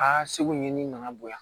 Aa segu ni nana bonya